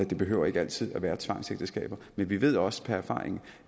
det behøver ikke altid at være tvangsægteskaber men vi ved også per erfaring